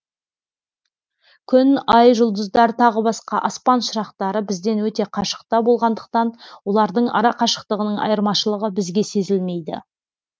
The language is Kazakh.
күн ай жұлдыздар тағы басқа аспан шырақтары бізден өте қашықта болғандықтан олардың ара қашықтығының айырмашылығы бізге сезілмейді